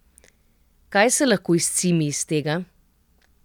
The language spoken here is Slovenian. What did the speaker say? Kaj se lahko izcimi iz tega?